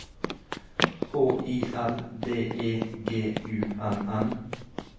H I L D E G U N N